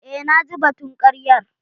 Eh naji batun karyar.